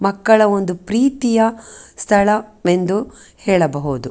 ಮಕ್ಕಳ ಒಂದು ಪ್ರೀತಿಯ ಸ್ಥಳ ಎಂದು ಹೇಳಬಹುದು.